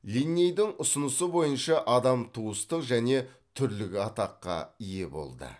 линнейдің ұсынысы бойынша адам туыстық және түрлік атаққа ие болды